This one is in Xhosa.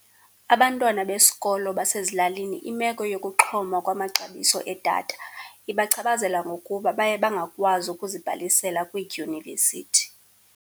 Abantwana besikolo basezilalini, imeko yokuxhoma kwamaxabiso edatha ibachaphazela ngokuba baye bangakwazi ukuzibhalisela kwiidyunivesithi.